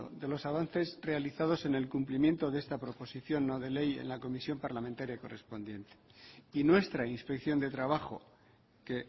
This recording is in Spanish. de los avances realizados en el cumplimiento de esta proposición no de ley en la comisión parlamentaria correspondiente y nuestra inspección de trabajo que